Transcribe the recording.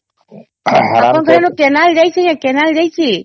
ଅପଣଂକର ସେଠି କେନାଲ ଯାଇଛେ ?